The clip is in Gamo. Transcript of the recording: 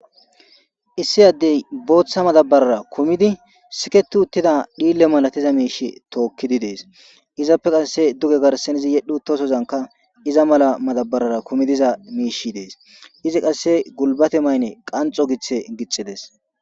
issi addey booththa madabarara kumidi siketu uttida dhiille malatiza miishe tookkidi dees izappe qasse duge garsen izi yedhu uttosozanka iza mala madabarara kumidiza miishi dees izi qasse gulbate mayne qanxo giththe gixxides